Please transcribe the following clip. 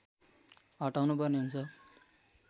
हटाउनुपर्ने हुन्छ